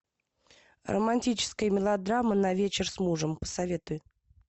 романтическая мелодрама на вечер с мужем посоветуй